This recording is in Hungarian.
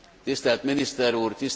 Tisztelt Miniszter úr!